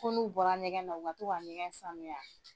Ko n'u bɔra ɲɛgɛn u ka to ka ɲɛgɛn sanuya.